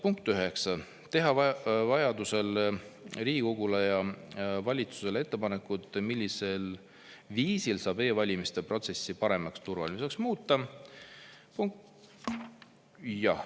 Punkt 9, teha vajadusel Riigikogule ja valitsusele ettepanekud, millisel viisil saab e-valimiste protsessi paremaks ja turvalisemaks muuta.